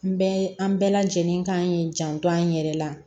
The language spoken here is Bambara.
N bɛɛ an bɛɛ lajɛlen kan k'i janto an yɛrɛ la